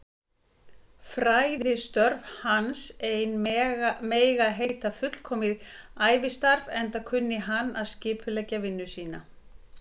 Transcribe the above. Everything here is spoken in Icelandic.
Fræðistörf hans ein mega heita fullkomið ævistarf, enda kunni hann að skipuleggja vinnu sína.